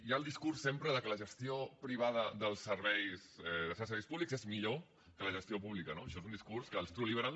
hi ha el discurs sempre que la gestió privada de certs serveis públics és millor que la gestió pública no això és un discurs que els true liberal